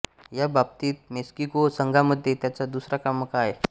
ह्या बाबतीत मेक्सिको संघामध्ये त्याचा दुसरा क्रमांक आहे